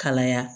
Kalaya